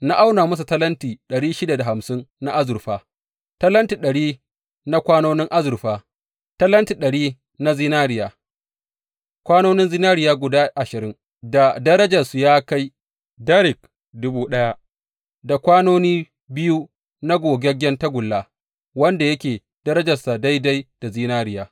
Na auna musu talenti na azurfa, talenti ɗari na kwanonin azurfa, talenti dari na zinariya, kwanonin zinariya guda ashirin da darajarsu ya kai darik dubu daya, da kwanoni biyu na gogaggen tagulla, wanda yake darajarsa daidai da zinariya.